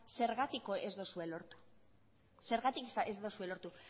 zergatik ez duzue lortu zergatik ez duzue lortu